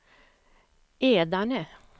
Edane